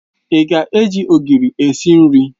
Ị ga-eji Ogiri esi nri?